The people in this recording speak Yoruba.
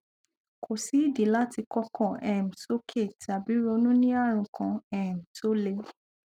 kò sí ìdí láti kọkàn um sókè tàbí ronú ní ààrùn kan um tó le